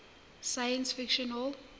science fiction hall